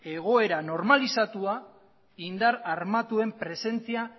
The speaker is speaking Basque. egoera normalizatua indar armatuen presentzia